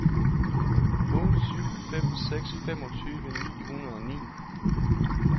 otte syv fem seks femogtyve ni hundrede og ni